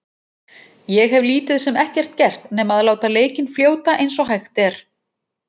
Ég hef lítið sem ekkert gert nema að láta leikinn fljóta eins og hægt er.